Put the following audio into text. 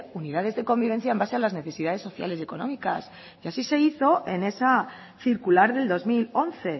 unidades de convivencia en base a las necesidades sociales y económicas y así se hizo en esa circular del dos mil once